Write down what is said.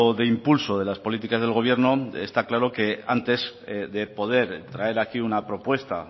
de impulso de las políticas del gobierno está claro que antes de poder traer aquí una propuesta